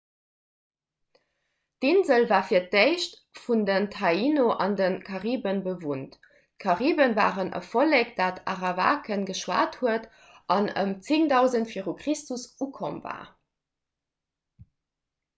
d'insel war fir d'éischt vun den taíno an de kariben bewunnt d'karibe waren en vollek dat arawakan geschwat huet an ëm 10 000 v chr ukomm war